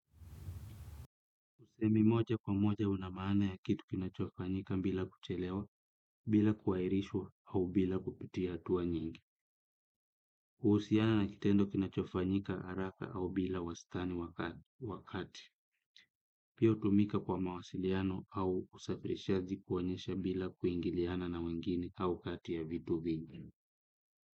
Usemi moja kwa moja una maana ya kitu kinachofanyika bila kuchelewa, bila kuairishwa, au bila kupitia hatua nyingi. Kuhusiana na kitendo kinachofanyika, haraka, au bila wastani wakati. Pia hutumika kwa mawasiliano au usafirishaji kuonyesha bila kuingiliana na wengine au kati ya vitu vingi.